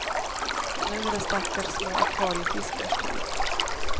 Nu är det stackars små akvariefiskars tur.